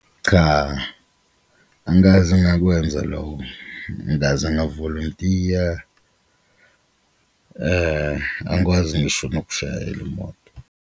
Cha, angikaze ngakwenza loko, angikaze ngavolontiya, angikwazi ngisho nokushayela imoto.